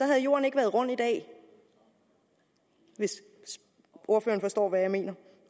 havde jorden ikke været rund i dag hvis ordføreren forstår hvad jeg mener